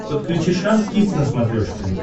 подключи шант кидс на смотрешке